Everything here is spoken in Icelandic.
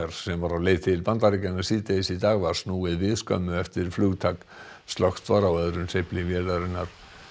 sem var á leið til Bandaríkjanna síðdegis í dag var snúið við skömmu eftir flugtak slökkt var á öðrum hreyfli vélarinnar